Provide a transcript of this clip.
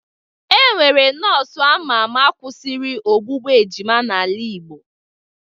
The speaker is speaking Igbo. E nwere nọọsụ ama ama kwụsịrị ogbugbu ejima n'ala igbo.